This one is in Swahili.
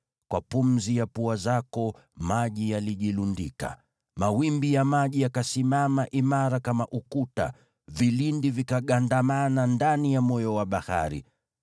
Kwa pumzi ya pua zako maji yalijilundika. Mawimbi ya maji yakasimama imara kama ukuta, vilindi vikagandamana ndani ya moyo wa bahari.